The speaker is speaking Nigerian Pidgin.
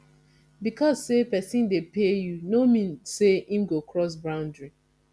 because say persin de pay you no mean say im go cross boundary